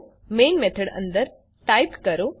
ચાલો જોઈએ આવો પ્રોગ્રામ કેવી રીતે લખવું